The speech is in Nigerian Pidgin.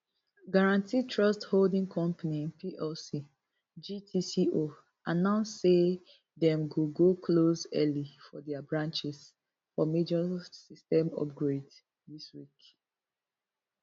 guaranty trust holding company plc gtco announce say dem go go close early for dia branches for major system upgrade dis week